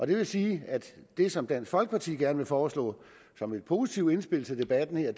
det vil sige at det som dansk folkeparti gerne vil foreslå som et positivt indspil til debatten er